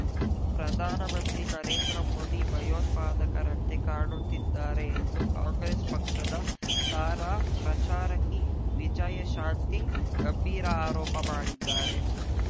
ಪ್ರಧಾನಮಂತ್ರಿ ನರೇಂದ್ರಮೋದಿ ಭಯೋತ್ಪಾದಕರಂತೆ ಕಾಣುತ್ತಿದ್ದಾರೆ ಎಂದು ಕಾಂಗ್ರೆಸ್ ಪಕ್ಷದ ತಾರಾ ಪ್ರಚಾರಕಿ ವಿಜಯಶಾಂತಿ ಗಂಭೀರ ಆರೋಪ ಮಾಡಿದ್ದಾರೆ